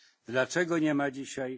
Dlaczego nie ma ich dzisiaj?